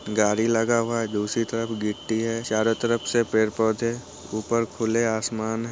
गाड़ी लगा हुआ है दूसरी तरफ गिट्टी है चारो तरफ से पेड़ पौधे ऊपर खुले आसमान हैं ।